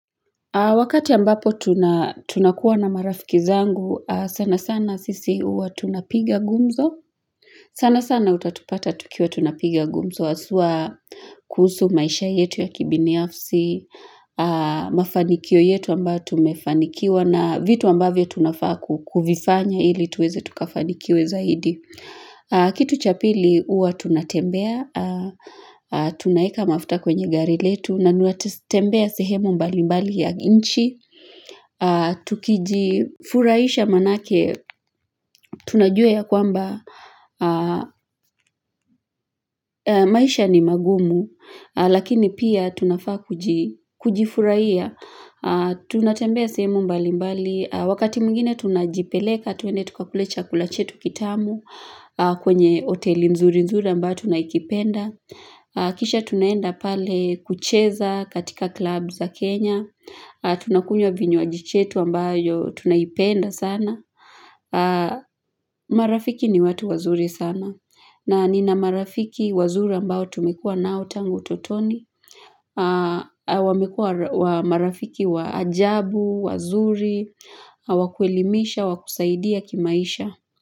Wakati ambapo tunakuwa na marafiki zangu, sana sana sisi uwa tunapiga gumzo. Sana sana utatupata tukiwa tunapiga gumzo, asuwa kuhusu maisha yetu ya kibini afsi, mafanikio yetu ambao tumefanikiwa na vitu ambavyo tunafa kukufifanya ili tuweze tukafanikiwe zaidi. Kitu cha pili uwa tunatembea, tunaeka mafuta kwenye gari letu na nuatatembea sehemu mbali mbali ya nchi Tukijifuraisha manake, tunajue ya kwamba maisha ni magumu Lakini pia tunafaa kujifuraiya Tunatembea sehemu mbali mbali Wakati mwingine tunajipeleka, twende tukakule chakula chetu kitamu kwenye oteli nzuri nzuri ambao tunayikipenda Kisha tunaenda pale kucheza katika klub za Kenya Tunakunya vinywaji chetu ambayo tunayipenda sana marafiki ni watu wazuri sana na nina marafiki wazuri ambao tumekua nao tangu utotoni wamekua marafiki wa ajabu, wazuri, wakuelimisha, wakusaidia kimaisha.